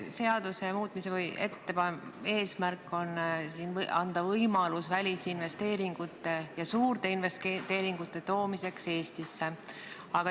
Seaduse muutmise eesmärk on anda võimalus tuua Eestisse välisinvesteeringuid, sh suuri investeeringuid.